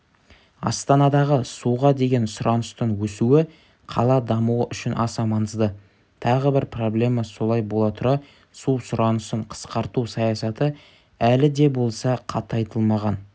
астанадағы суға деген сұраныстың өсуі қала дамуы үшін аса маңызды тағы бір проблема солай бола тұра су сұранысын қысқарту саясаты әлі де болса қатайтылмаған